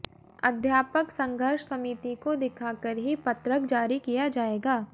अध्यापक संघर्ष समिति को दिखाकर ही पत्रक जारी किया जाएगा